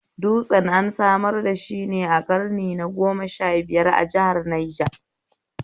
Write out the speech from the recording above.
Dutsen an samar dashi ne ƙarni na goma sha biyar, a jihar Niger